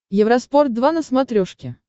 евроспорт два на смотрешке